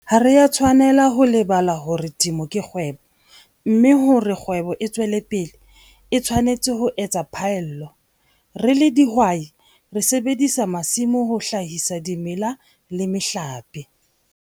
Ha re a tshwanela ho lebala hore temo kekgwebo, mme hore kgwebo e tswele pele, e tshwanetse ho ets phaello. Re ledihwai, re sebedisa masimo ho hlahisa dimela le mehlape.